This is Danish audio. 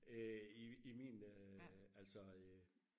øh i i min altså øh